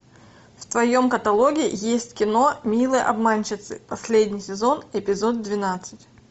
в твоем каталоге есть кино милые обманщицы последний сезон эпизод двенадцать